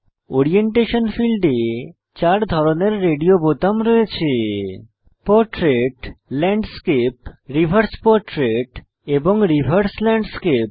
orientation ফীল্ডে 4 ধরনের radio বোতাম রয়েছে পোর্ট্রেট ল্যান্ডস্কেপ রিভার্স পোর্ট্রেট এবং রিভার্স ল্যান্ডস্কেপ